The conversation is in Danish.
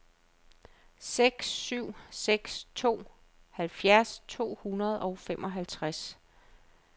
seks syv seks to halvfjerds to hundrede og femoghalvtreds